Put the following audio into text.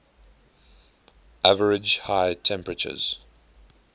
average high temperatures